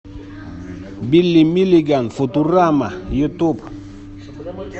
билли милиган футурама ютуб